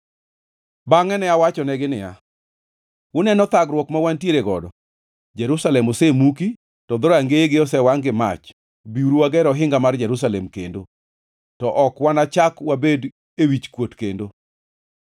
Bangʼe ne awachonegi niya, “Uneno thagruok ma wantiere godo: Jerusalem osemuki, to dhorangeyege osewangʼ gi mach. Biuru wager ohinga mar Jerusalem kendo, to ok wanachak wabed e wichkuot kendo.”